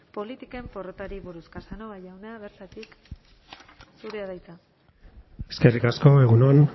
politiken porrotari buruz casnova jauna bertatik zurea da hitza eskerrik asko egun on